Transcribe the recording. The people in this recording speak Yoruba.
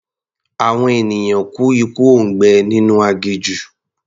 Àwọn ènìyàn kú ikú òǹgbẹ nínú aginjù.